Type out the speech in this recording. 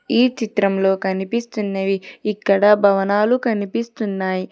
ఈ చిత్రంలో కనిపిస్తున్నవి ఇక్కడ భవనాలు కనిపిస్తున్నాయి.